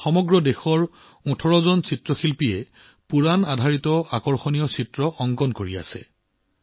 ইয়াত দেশৰ বিভিন্ন প্ৰান্তৰ ১৮ গৰাকী চিত্ৰশিল্পীয়ে পুৰাণৰ আধাৰত আকৰ্ষণীয় কাৰ্টুন নিৰ্মাণ কৰি আছে